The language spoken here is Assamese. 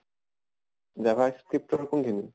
javascript ৰ কোন খিনি?